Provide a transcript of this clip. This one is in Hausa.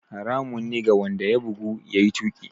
Haramun ne ga wanda ya bugu, ya yi tuƙi.